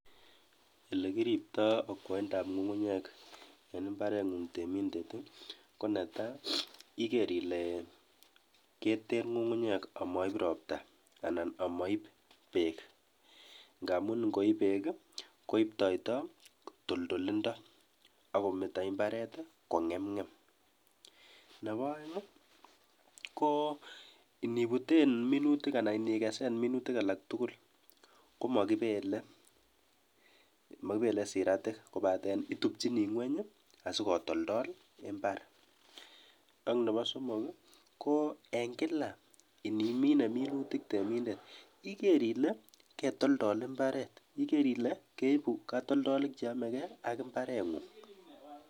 Elekiripto okwoindab ng'ung'unyek en imbarengung temindet i, ko netaa iker ilee keter ngungunyek amoib robta anan moib beek ng'amun ing'oib beek koibtoito toldolindo akometo imbaret kong'emng'em, nebo oeng i ko nibuten minutik anan ikesen minutik alaktukul komokibele mokibele siratik kobaten itubchini ngweny asikotoldol imbar, ak nebo somok i ko en kila indimine minutik temindet iker ile ketoldol imbaret, iker ile keibu katoldolik cheomeke ak imbarengung.